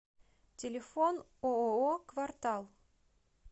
телефон ооо квартал